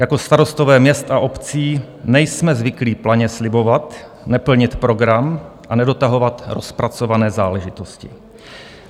Jako starostové měst a obcí nejsme zvyklí planě slibovat, neplnit program a nedotahovat rozpracované záležitosti.